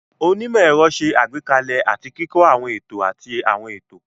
Onímọ̀-ẹ̀rọ ṣe àgbékalẹ̀ àti kíkọ́ àwọn ètò àti àwọn ètò.